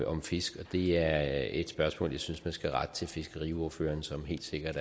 om fiskere det er et spørgsmål som jeg synes man skal rette til fiskeriordføreren som helt sikkert